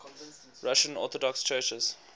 russian orthodox churches